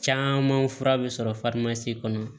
Caman fura bɛ sɔrɔ kɔnɔ